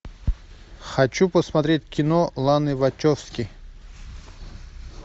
хочу посмотреть кино ланы вачовски